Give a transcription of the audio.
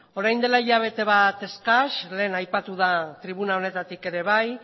orain dela hilabete bat eskas lehen aipatu da tribuna honetatik ere bai